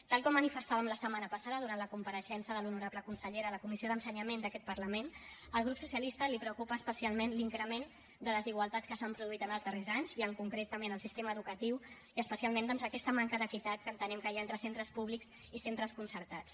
tal com manifestàvem la setmana passada durant la compareixença de l’honorable consellera a la comissió d’ensenyament d’aquest parlament al grup socialista el preocupa especialment l’increment de les desigualtats que s’han produït en els darrers anys i en concret també en el sistema educatiu i especialment doncs aquesta manca d’equitat que entenem que hi ha entre centres públics i centres concertats